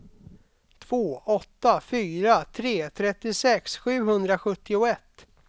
två åtta fyra tre trettiosex sjuhundrasjuttioett